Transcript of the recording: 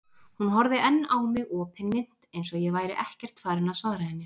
Hún horfði enn á mig opinmynnt eins og ég væri ekkert farinn að svara henni.